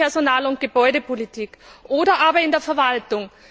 in der Personal und Gebäudepolitik oder aber in der Verwaltung.